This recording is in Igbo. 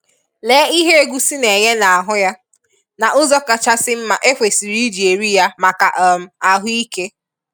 Lèe ihe egụ́sí na-enye n'ahụ ya na ụzọ kachasị mma e kwesịrị iji eri ya maka um ahụike.